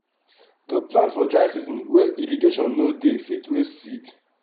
to plant for dry season wey irrigation no dey fit waste seed.